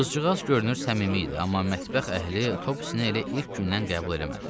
Qızcığaz görünür səmimi idi, amma mətbəx əhli Topsyə elə ilk gündən qəbul eləmədi.